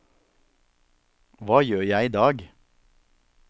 hva gjør jeg idag